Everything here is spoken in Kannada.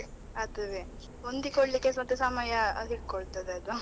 ಅದುವೇ ಹೊಂದಿಕೊಳ್ಳಿಕ್ಕೆ ಸ್ವಲ್ಪ ಸಮಯ ಹಿಡ್ಕೊಳ್ತದೆ ಅದು.